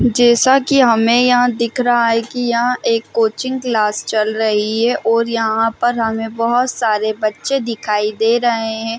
जैसा की हमे यहाँ दिख रहा है की यहाँ एक कोचिंग क्लास चल रही है और यहाँ पर हमें बहोत सारे बच्चे दिखाइ दे रहे है।